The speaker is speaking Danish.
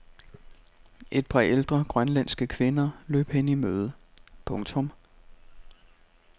Et par ældre grønlandske kvinder løb hende i møde. punktum